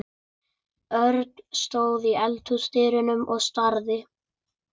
Örn stóð í eldhúsdyrunum og starði.